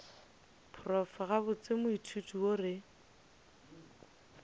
prof gabotse moithuti yo re